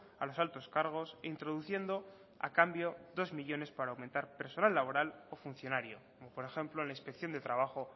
a los altos cargos introduciendo a cambio dos millónes para aumentar laboral o funcionario como por ejemplo en la inspección de trabajo